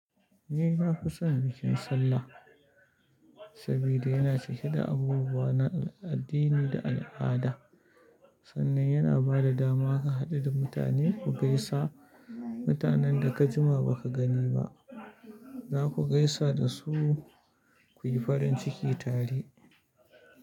Ni na fi son bikin Sallah sabida yana cike da abubuwa na addini da al'ada, sannan yana ba da dama ka haɗu da mutane ku gaisa. Mutanen da ka jima ba ka gani ba, za ku gaisa da su ku yi farin ciki tare.